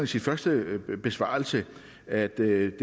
sin første besvarelse at det er